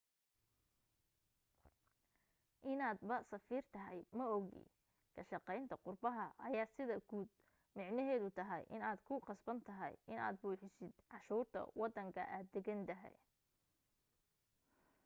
inaad ba safiir tahay maogi ka shaqaynta qurbaha ayaa sida guud micneheedu tahay inaad ku qasban tahay inaad buuxisid canshuurta wadanka aad degan tahay